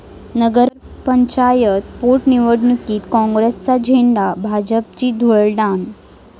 नगर पंचायत पोटनिवडणुकीत काँग्रेसचा झेंडा, भाजपची धुळदाण